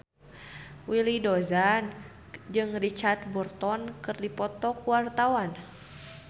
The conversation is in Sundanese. Willy Dozan jeung Richard Burton keur dipoto ku wartawan